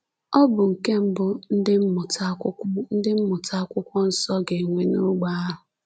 Ọ bụ nke mbụ ndị mmụta Akwụkwọ ndị mmụta Akwụkwọ Nsọ ga-enwe n'ogbe ahụ.